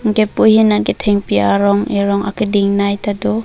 anke pu ahin nat thengpi arong erong akeding nai ta do.